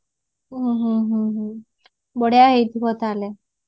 ହୁଁ ବଢିଆ ହେଇଥିବ ତାହାଲେ